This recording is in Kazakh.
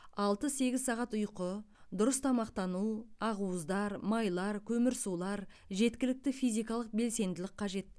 алты сегіз сағат ұйқы дұрыс тамақтану ақуыздар майлар көмірсулар жеткілікті физикалық белсенділік қажет